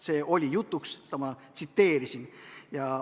See oli jutuks, seda ma tsiteerisin.